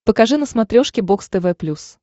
покажи на смотрешке бокс тв плюс